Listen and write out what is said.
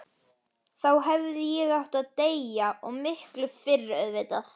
Þá hefði ég átt að deyja, og miklu fyrr auðvitað.